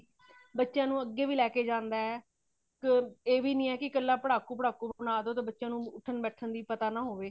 ਬੱਚਿਆਂ ਨੂੰ ਅੱਗੇ ਵੀ ਲੇਕੇ ਜਾਂਦਾ ਹੇ ,ਮ ਇਹ ਵੀ ਨਹੀਂ ਕੀ ਕਲ੍ਹਾ ਪੜਾਕੂ ਪੜ੍ਹਾਕੂ ਬਨਾ ਦੋ ਬੱਚਿਆਂ ਨੂੰ ਉਠੰਨ ਬੈਠਣ ਦਾ ਵੀ ਪਤਾ ਨਾ ਹੋਵੇ